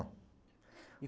E